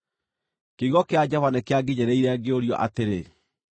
Kiugo kĩa Jehova nĩkĩanginyĩrĩire, ngĩũrio atĩrĩ: